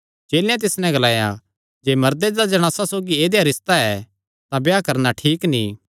चेलेयां तिस नैं ग्लाया जे मर्दे दा जणासा सौगी ऐदेया रिस्ता ऐ तां ब्याह करणा ठीक नीं